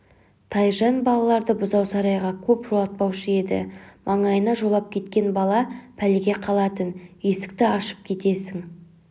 тайжан балаларды бұзау сарайға көп жолатпаушы еді маңайына жолап кеткен бала пәлеге қалатын есікті ашып кетесің